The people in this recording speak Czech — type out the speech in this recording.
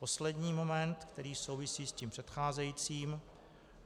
Poslední moment, který souvisí s tím předcházejícím.